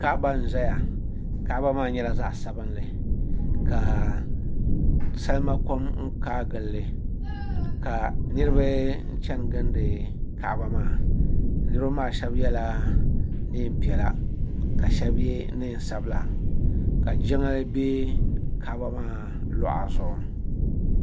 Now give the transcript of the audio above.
Kaɣaba n zaya kaɣaba nyɛla zaɣa sabinli ka salima kɔm kaayi gili li ka niriba chani gilindi kaɣaba maa niriba maa shɛba yɛla niɛn piɛla ka shɛba yɛ niɛn sabila ka jiŋli bɛ kaɣaba maa luɣa zuɣu.